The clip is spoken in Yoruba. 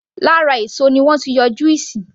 Lára èso ni wọ́n ti ń yọ juice